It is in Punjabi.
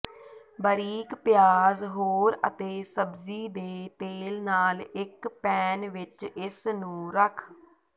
ਬਾਰੀਕ ਪਿਆਜ਼ ੋਹਰ ਅਤੇ ਸਬਜ਼ੀ ਦੇ ਤੇਲ ਨਾਲ ਇੱਕ ਪੈਨ ਵਿੱਚ ਇਸ ਨੂੰ ਰੱਖ